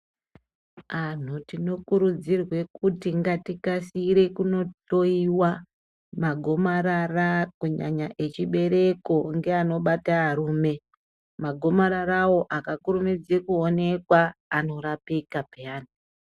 Antu tinokurudzirwa kuti ngatikasire kundohloiwa magomarara kunyanya rechibereko neanobata varumbe magomarara iwawo akakurumidza kuoneka anorapika piyani.